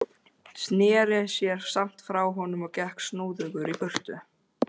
Sneri sér samt frá honum og gekk snúðugur í burtu.